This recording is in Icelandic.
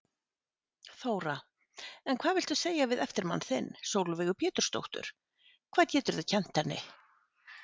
Þóra: En hvað viltu segja við eftirmann þinn, Sólveigu Pétursdóttur, hvað geturðu kennt henni?